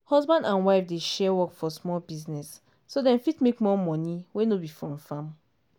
husband and wife dey share work for small business so dem fit make more money wey no be from farming.